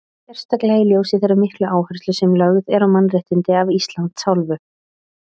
Sérstaklega í ljósi þeirra miklu áherslu sem að lögð er á mannréttindi af Íslands hálfu?